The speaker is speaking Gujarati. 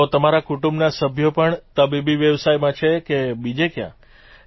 તો તમારા કુટુંબના સભ્યો પણ તબીબી વ્યવસાયમાં છે કે બીજે ક્યાંય